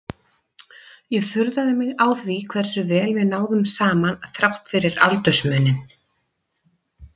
Ég furðaði mig á því hversu vel við náðum saman þrátt fyrir aldursmuninn.